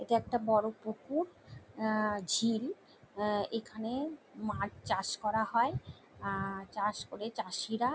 এটা একটা বড়ো পুকুর অ-অ ঝিল এখানে মাছ চাষ করা হয়। চাষ করে চাষিরা--